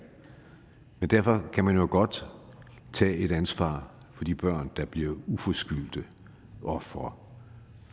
men derfor kan man jo godt tage et ansvar for de børn der bliver uforskyldte ofre